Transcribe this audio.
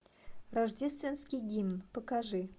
рождественский гимн покажи